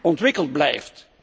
ontwikkeld blijft.